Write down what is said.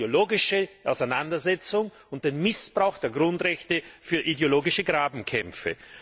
Es geht um die ideologische Auseinandersetzung und den Missbrauch der Grundrechte für ideologische Grabenkämpfe.